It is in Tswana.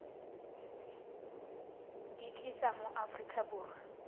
di tlisa mo aforika borwa